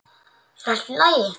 Er allt í lagi?